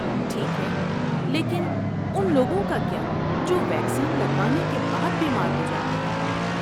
ٹھیک ہے، لیکن ان لوگوں کا کیا جو ویکسین لگوانے کے بعد بیمار ہو جاتے ہیں؟